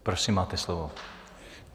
Prosím, máte slovo.